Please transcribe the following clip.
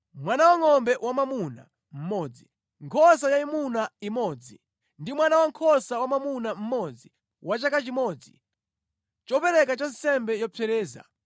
mwana wangʼombe wamwamuna mmodzi, nkhosa yayimuna imodzi ndi mwana wankhosa wamwamuna mmodzi wa chaka chimodzi, chopereka cha nsembe yopsereza: